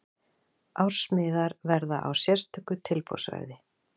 Ársmiðar verða á sérstöku tilboðsverði.